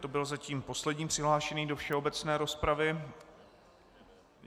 To byl zatím poslední přihlášený do všeobecné rozpravy.